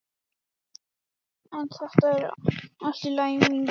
En þetta er allt í lagi mín vegna.